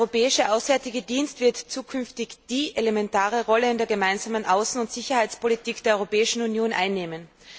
Der Europäische Auswärtige Dienst wird zukünftig die elementare Rolle in der Gemeinsamen Außen und Sicherheitspolitik der Europäischen Union einnehmen.